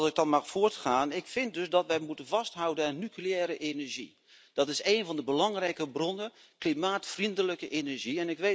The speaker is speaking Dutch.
Als ik dan mag voortgaan ik vind dat wij moeten vasthouden aan nucleaire energie. Dat is een van de belangrijke bronnen van klimaatvriendelijke energie.